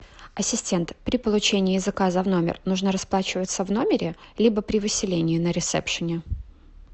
ассистент при получении заказа в номер нужно расплачиваться в номере либо при выселении на ресепшене